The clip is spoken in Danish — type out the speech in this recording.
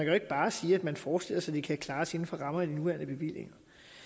jo ikke bare sige at man forestiller sig at det kan klares inden for rammerne af de nuværende bevillinger